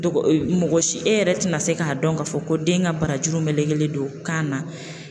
Mɔgɔ si e yɛrɛ tɛna se k'a dɔn k'a fɔ ko den ka barajuru melegelen don kan na